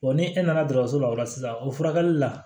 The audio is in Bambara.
ni e nana dɔgɔtɔso la o la sisan o furakɛli la